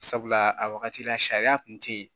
Sabula a wagati la sariya kun tɛ yen